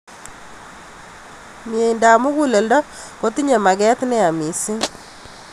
Mnyendo ab mukuleldo kotinye maket neya missing